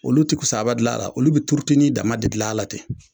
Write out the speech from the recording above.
Olu te kusaba dilan a la, olu be turutenin dama de dilan a la ten.